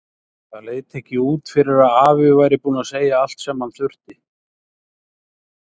Það leit ekki út fyrir að afi væri búinn að segja allt sem hann þurfti.